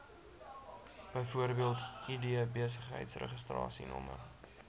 bv id besigheidsregistrasienommer